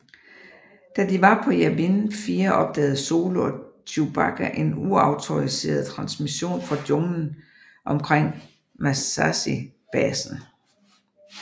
Da de var på Yavin 4 opdagede Solo og Chewbacca en uautoriseret transmission fra junglen omkring Massassi basen